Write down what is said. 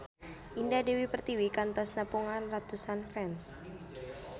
Indah Dewi Pertiwi kantos nepungan ratusan fans